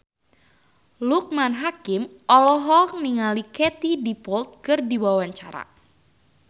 Loekman Hakim olohok ningali Katie Dippold keur diwawancara